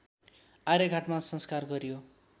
आर्यघाटमा संस्कार गरियो